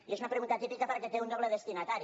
i és una pregunta atípica perquè té un doble destinatari